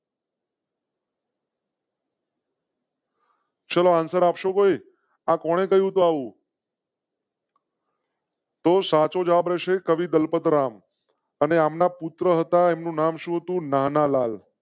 ચલો answer આપશો કોઈ. આ કોણે કહીંયુ હતું એવું તો સાચો જવાબ હશે. કવિ દલપતરામ અને અમ ના પુત્ર હતા. એમ નું નામ શું તો નાનાલાલ.